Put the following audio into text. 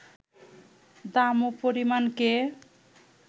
দাম ও পরিমাণকে